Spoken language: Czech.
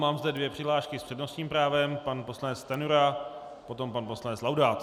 Mám zde dvě přihlášky s přednostním právem: pan poslanec Stanjura, potom pan poslanec Laudát.